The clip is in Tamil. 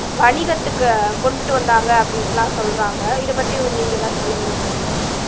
வணிகத்துக்கு கொண்டுட்டு வந்தாங்க அப்படின்லாம் சொல்றாங்க இதை பத்தி நீங்க எதாவது சொல்ல விரும்புறீங்களா